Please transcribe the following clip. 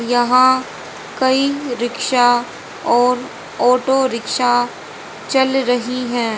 यहां कई रिक्शा और ऑटो रिक्शा चल रही है।